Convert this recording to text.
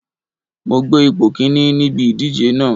Mo gbé ipò Kínní níbi ìdíje náà.